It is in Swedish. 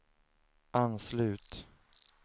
anslut